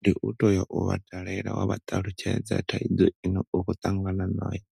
Ndi u toya wa vha dalela wa vha ṱalutshedza thaidzo ine u khou ṱangana na yo